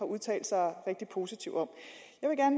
udtalt sig rigtig positivt om